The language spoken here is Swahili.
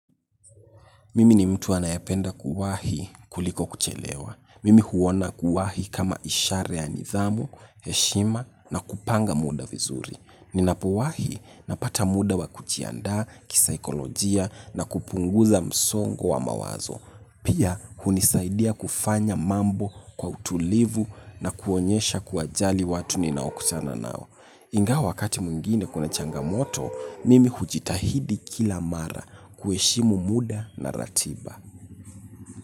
Mimi ni mtu anayependa kuwahi kuliko kuchelewa. Mimi huona kuwahi kama ishara ya nidhamu, heshima na kupanga muda vizuri. Ninapowahi napata muda wa kujiandaa kisaikolojia na kupunguza msongo wa mawazo. Pia hunisaidia kufanya mambo kwa utulivu na kuonyesha kuwajali watu ninaokutana nao. Ingawa wakati mwingine kuna changamoto, mimi hujitahidi kila mara kuheshimu muda na ratiba.